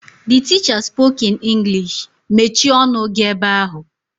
(The teacher spoke in English) "Mechie ọnụ gi ebe ahụǃ"